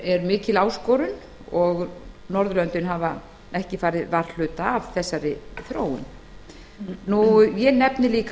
eru mikil áskorun og hafa norðurlöndin ekki farið varhluta af þeirri þróun ég nefni líka